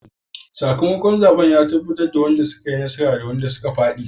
Sakamakon zaben ya tabbatar da wadanda suka yi nasara da wadanda suka fadi.